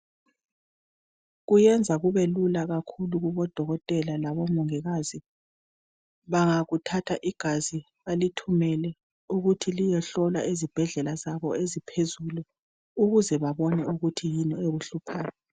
Kuyenza kubelula kakhulu kubodokotela labo mongikazi ,bangakuthatha igazi balithumele ukuthi liyohlolwa ezibhedlela zabo eziphezulu ukuze babone ukuthi yini ekuhluphayo.